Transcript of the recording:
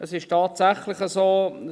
Es ist tatsächlich so: